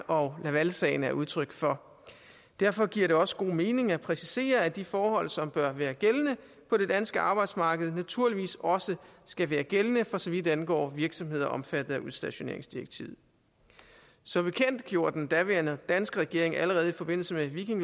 og lavalsagen er udtryk for derfor giver det også god mening at præcisere at de forhold som bør være gældende på det danske arbejdsmarked naturligvis også skal være gældende for så vidt angår virksomheder omfattet af udstationeringsdirektivet som bekendt gjorde den daværende danske regering allerede i forbindelse med viking